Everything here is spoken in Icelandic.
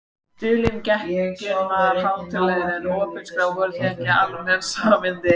Dulin geggjun var hættulegri en opinská- voru það ekki almenn sannindi?